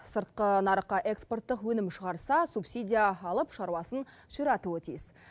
сыртқы нарыққа экспорттық өнім шығарса субсидия алып шаруасын ширатуы тиіс